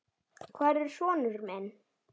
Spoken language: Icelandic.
Hvar er sonur minn?